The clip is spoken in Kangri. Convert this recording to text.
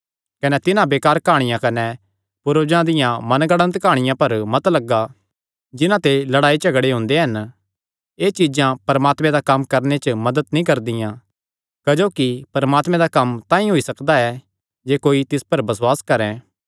कने तिन्हां बेकार काहणियां कने पूर्वजां दियां मनगढ़ंत काहणियां पर मन मत लगा जिन्हां ते लड़ाई झगड़े हुंदे हन एह़ चीज्जां परमात्मे दा कम्म करणे च मदत नीं करदियां क्जोकि परमात्मे दा कम्म तांई होई सकदा ऐ जे कोई तिस पर बसुआस करैं